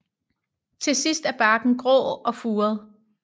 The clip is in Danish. Til sidst er barken grå og furet